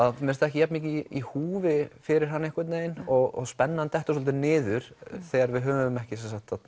mér finnst ekki jafnmikið í húfi fyrir hann einhvern veginn og spennan dettur svolítið niður þegar við höfum ekki